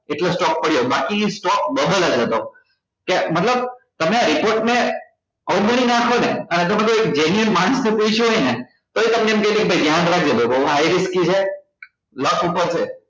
એટલે stock પડ્યો બાકી stock double જ હતો કે મતલબ તમે આ report ને અવગણી નાખો ને અને જો તમે એક genuine માણસ ને પૂછ્યું હોય ને તોય તમને એક કે કે ભાઈ ધ્યાન રાખજો high nifty છે લક ઉપર છે